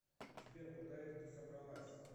сбер куда это ты собралась